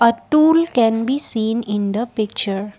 a stool can be seen in the picture.